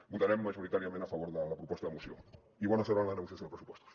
votarem majoritàriament a favor de la proposta de moció i bona sort en la negociació dels pressupostos